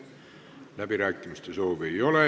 Läbirääkimiste soovi ei ole.